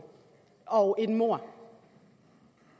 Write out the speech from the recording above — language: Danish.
og et mord